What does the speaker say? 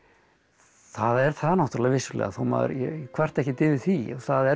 það er það náttúrulega vissulega þó maður kvarti ekkert yfir því það er